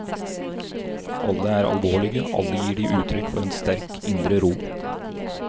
Alle er alvorlige, alle gir de utrykk for en sterk indre ro.